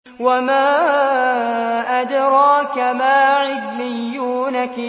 وَمَا أَدْرَاكَ مَا عِلِّيُّونَ